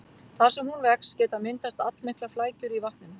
Þar sem hún vex geta myndast allmiklar flækjur í vatninu.